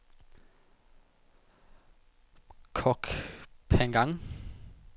Koh Phangan